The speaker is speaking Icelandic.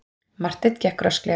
Marteinn gekk rösklega.